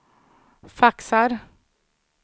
faxar